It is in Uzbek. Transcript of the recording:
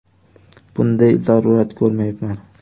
Bunday zarurat ko‘rmayapman.